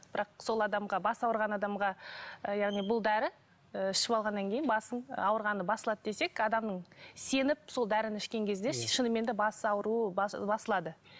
бірақ сол адамға бас ауырған адамға ы яғни бұл дәрі ы ішіп алғаннан кейін басың ауырғаны басылады десек адамның сеніп сол дәріні ішкен кезде шынымен де бас ауруы басылады